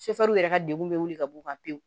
yɛrɛ ka degun be wuli ka b'u kan pewu